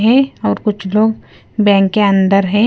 है और कुछ लोग बैंक के अंदर है।